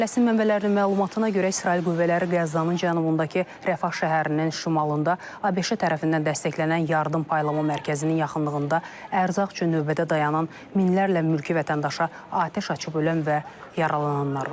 Fələstin mənbələrinin məlumatına görə İsrail qüvvələri Qəzzanın cənubundakı Rəfah şəhərinin şimalında ABŞ tərəfindən dəstəklənən yardım paylama mərkəzinin yaxınlığında ərzaq üçün növbədə dayanan minlərlə mülki vətəndaşa atəş açıb ölənlər və yaralananlar var.